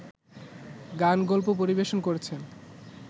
গানগল্প পরিবেশন করেছেন